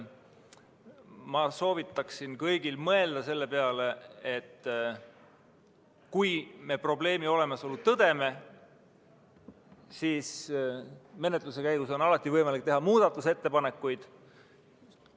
Mina soovitan kõigil mõelda selle peale, et kui me probleemi olemasolu tõdeme, siis menetluse käigus on alati võimalik teha muudatusettepanekuid.